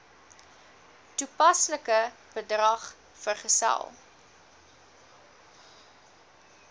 toepaslike bedrag vergesel